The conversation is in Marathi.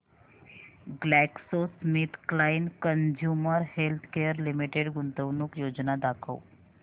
ग्लॅक्सोस्मिथक्लाइन कंझ्युमर हेल्थकेयर लिमिटेड गुंतवणूक योजना दाखव